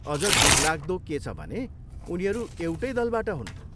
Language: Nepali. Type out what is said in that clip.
अझ दुखलाग्दो के छ भने उनीहरू एउटै दलबाट हुन्।